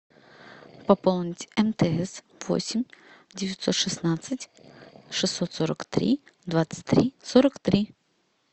пополнить мтс восемь девятьсот шестнадцать шестьсот сорок три двадцать три сорок три